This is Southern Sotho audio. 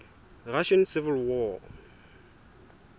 russian civil war